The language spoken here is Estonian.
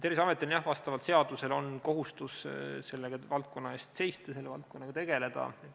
Terviseametil on jah vastavalt seadusele kohustus selle valdkonna eest seista, selle valdkonnaga tegeleda.